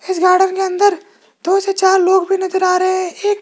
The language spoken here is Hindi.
इस गार्डन के अंदर दो से चार लोग भी नजर आ रहे हैं एक--